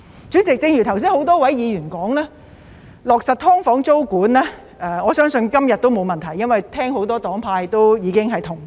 主席，正如剛才很多議員發言，今天要落實"劏房"租管應該問題不大，因為很多黨派已表示同意。